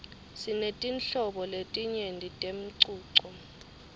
sinetinhlobo letinyenti temcuco